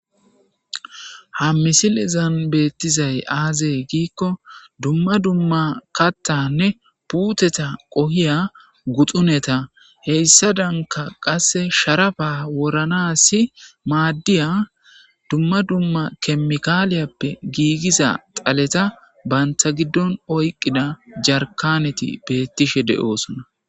Ha misilezan betizay aaze gikon dumma dumma kathanne puteta qohoya guxuneta heysadanka qase sharapa woranasi madiya dumma dumma kemikaliyappe giigiza xaleta banta gidon oykida jarikaneti betishe de'osona.